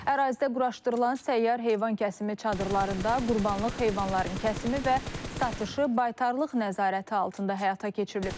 Ərazidə quraşdırılan səyyar heyvan kəsimi çadırlarında qurbanlıq heyvanların kəsimi və satışı baytarlıq nəzarəti altında həyata keçirilib.